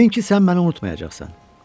Dedin ki, sən məni unutmayacaqsan.